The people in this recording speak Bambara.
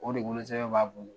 O de wolosɛbɛn b'a bolo